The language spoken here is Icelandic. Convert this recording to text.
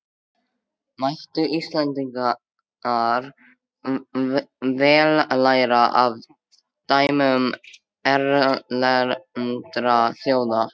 Mættu Íslendingar vel læra af dæmum erlendra þjóða.